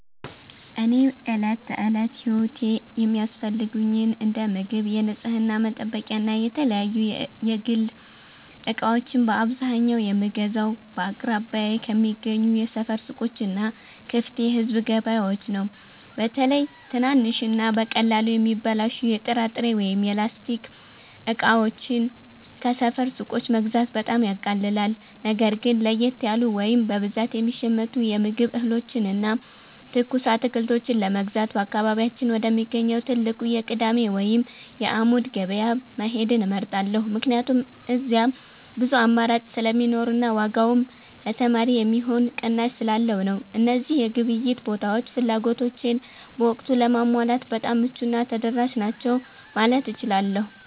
እኔ ለዕለት ተዕለት ሕይወቴ የሚያስፈልጉኝን እንደ ምግብ፣ የንጽሕና መጠበቂያና የተለያዩ የግል ዕቃዎችን በአብዛኛው የምገዛው በአቅራቢያዬ ከሚገኙ የሰፈር ሱቆችና ክፍት የሕዝብ ገበያዎች ነው። በተለይ ትናንሽና በቀላሉ የሚበላሹ የጥራጥሬ ወይም የላስቲክ ዕቃዎችን ከሰፈር ሱቆች መግዛት በጣም ያቃልላል። ነገር ግን ለየት ያሉ ወይም በብዛት የሚሸመቱ የምግብ እህሎችንና ትኩስ አትክልቶችን ለመግዛት በአካባቢያችን ወደሚገኘው ትልቁ የቅዳሜ ወይም የዓሙድ ገበያ መሄድን እመርጣለሁ፤ ምክንያቱም እዚያ ብዙ አማራጭ ስለሚኖርና ዋጋውም ለተማሪ የሚሆን ቅናሽ ስላለው ነው። እነዚህ የግብይት ቦታዎች ፍላጎቶቼን በወቅቱ ለማሟላት በጣም ምቹና ተደራሽ ናቸው ማለት እችላለሁ።